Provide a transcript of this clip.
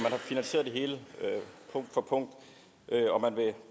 har finansieret det hele punkt for punkt